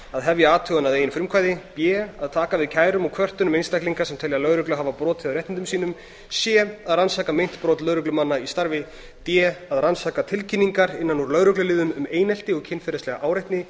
a hefja athugun að eigin frumkvæði b taka við kærum og kvörtunum einstaklinga sem telja lögreglu hafa brotið á réttindum sínum c rannsaka meint brot lögreglumanna í starfi d rannsaka tilkynningar innan úr lögregluliðum um einelti og kynferðislega áreitni